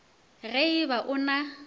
ge e ba o na